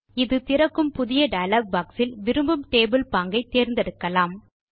இது திறக்கும் புதிய டயலாக் பாக்ஸ் இல் விரும்பும் டேபிள் பாங்கை தேர்ந்தெடுக்கலாம்